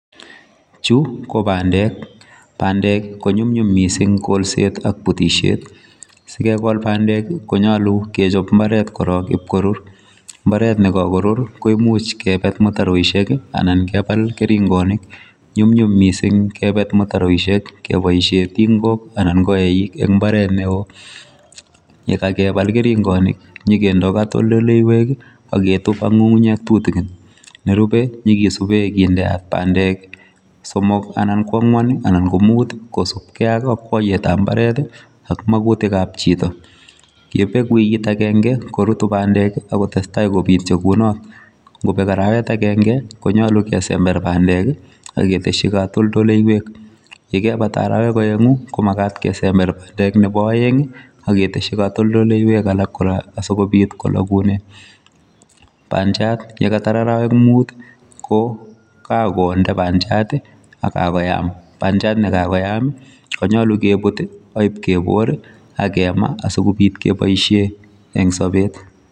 Chu ko bandek, bandek ko nyumnyum mising kolset ak butisiet, si kekol bandek ii, ko nyolu kechop mbaret korok ip korur, mbaret ne kakorur koimuch kebet mutaroisiek ii anan kebal keringonik, nyumnyum mising kebet mutaroisiek keboisie tingok anan ko eik eng imbaret ne oo, yekakebal keringonik, nyikendoi katoldoleiwek ii ak ketup ak ngungunyek tutikin, nerube nyikesube kindeat bandek somok anan ko angwan anan ko mut ii kosubkei ak akwaiyetab mbaret ii, ak makutikab chito, ye bek wikit akenge korutu bandek ak kotestai kobityo kunot, ngobek arawet akenge, konyolu kesember bandek ii ak ketesyi katoldoleiwek, ye kebata arawek aengu ko makat kesember bandek nebo aeng ii, ak ketesyi katoldoleiwek alak kora asikobit kolokune, bandiat ye katar arawek mut ii, ko kakonde bandiat ii ak kakoyam, bandiat ne kakoyam ii konyolu kebut ii ak ip kebor ii ak kema asikobit keboisie eng sobet.